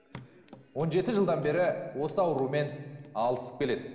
он жеті жылдан бері осы аурумен алысып келеді